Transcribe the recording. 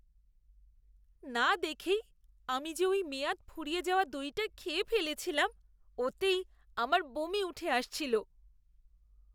না দেখেই আমি যে ওই মেয়াদ ফুরিয়ে যাওয়া দইটা খেয়ে ফেলেছিলাম ওতেই আমার বমি উঠে আসছিল।